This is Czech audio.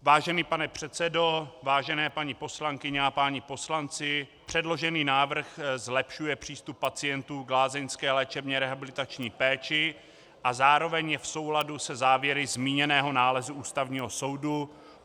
Vážený pane předsedo, vážené paní poslankyně a páni poslanci, předložený návrh zlepšuje přístup pacientů k lázeňské léčebně rehabilitační péči a zároveň je v souladu se závěry zmíněného nálezu Ústavního soudu.